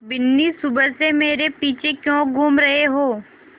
बिन्नी सुबह से मेरे पीछे क्यों घूम रहे हो